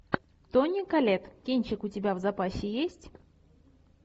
тони коллетт кинчик у тебя в запасе есть